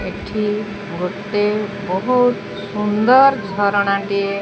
ଏଠି ଗୋଟେ ବୋହୁତ୍ ସୁନ୍ଦର ଝରଣା ଟିଏ --